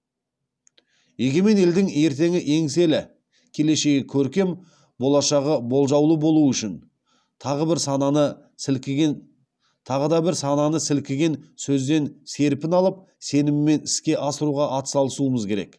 егемен елдің ертеңі еңселі келешегі көркем болашағы болжаулы болуы үшін тағы бір сананы сілкіген сөзден серпін алып сеніммен іске асыруға атсалысуымыз керек